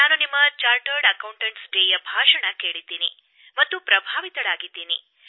ನಾನು ಲೆಕ್ಕಪರಿಶೋಧಕರ ದಿನದಂದು ನೀವು ಮಾಡಿದ ಭಾಷಣ ಕೇಳಿದ್ದೇನೆ ಮತ್ತು ಪ್ರಭಾವಿತಳಾಗಿದ್ದೇನೆ